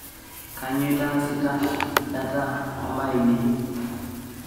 kainyoo intaasita data o mbaa ainei